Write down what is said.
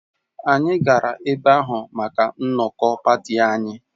Anyị gara ebe ahụ maka nnọkọ pati anyị